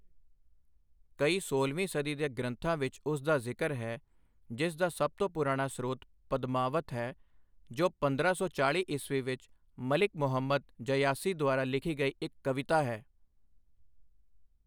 ਕਈ ਸੋਲਵੀਂ ਸਦੀ ਦੇ ਗ੍ਰੰਥਾਂ ਵਿੱਚ ਉਸ ਦਾ ਜ਼ਿਕਰ ਹੈ, ਜਿਸ ਦਾ ਸਭ ਤੋਂ ਪੁਰਾਣਾ ਸਰੋਤ ਪਦਮਾਵਤ ਹੈ, ਜੋ ਪੰਦਰਾਂ ਸੌ ਚਾਲ੍ਹੀ ਈਸਵੀ ਵਿੱਚ ਮਲਿਕ ਮੁਹੰਮਦ ਜਯਾਸੀ ਦੁਆਰਾ ਲਿਖੀ ਗਈ ਇੱਕ ਕਵਿਤਾ ਹੈ।